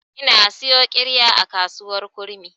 Ina siyo ƙirya a kasuwar kurmi.